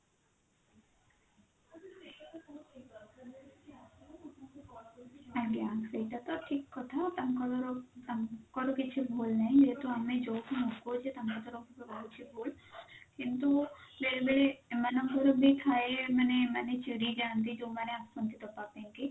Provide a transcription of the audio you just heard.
ଆଜ୍ଞା ସେଇଟା ତ ଠିକ କଥା ତାଙ୍କର ତାଙ୍କର କିଛି ଭୁଲ ନାହିଁ ଯେହେତୁ ଆମେ ଯଉଠୁ ମଗଉଛେ ତାଙ୍କ ତରଫ ରୁ ରହୁଛି ଭୁଲ କିନ୍ତୁ ବେଳେ ବେଳେ ଏମାନଙ୍କର ବି ଥାଏ ମାନେ ମାନେ ଚିଡି ଯାଆନ୍ତି ଯଉମାନେ ଆସନ୍ତି ଦବା ପାଇଁ କି